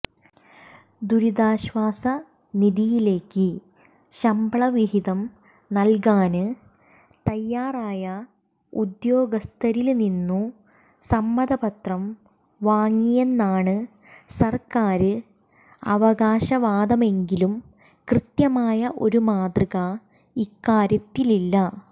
ദുരിതാശ്വാസ നിധിയിലേക്ക് ശമ്പള വിഹിതം നല്കാന് തയാറായ ഉദ്യോഗസ്ഥരില്നിന്നു സമ്മതപത്രം വാങ്ങിയെന്നാണു സര്ക്കാര് അവകാശവാദമെങ്കിലും കൃത്യമായ ഒരു മാതൃക ഇക്കാര്യത്തിലില്ല